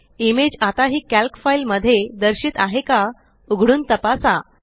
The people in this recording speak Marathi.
इमेज आताही कॅल्क फाइल मध्ये दर्शित आहे का उघडून तपसा